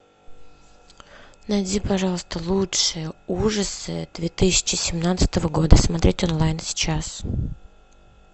найди пожалуйста лучшие ужасы две тысячи семнадцатого года смотреть онлайн сейчас